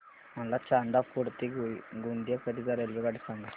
मला चांदा फोर्ट ते गोंदिया करीता रेल्वेगाडी सांगा